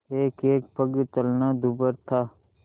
एकएक पग चलना दूभर था